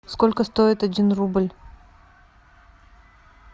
сколько стоит один рубль